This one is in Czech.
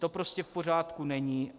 To prostě v pořádku není.